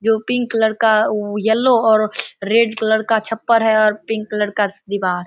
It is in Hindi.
जो पिंक कलर का उ येलो और रेड कलर का छप्पर है और पिंक कलर का दीवार।